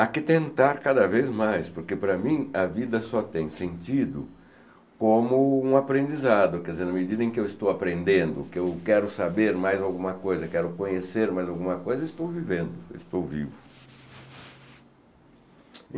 Há que tentar cada vez mais, porque para mim a vida só tem sentido como um aprendizado, quer dizer, na medida em que eu estou aprendendo, que eu quero saber mais alguma coisa, quero conhecer mais alguma coisa, estou vivendo, estou vivo.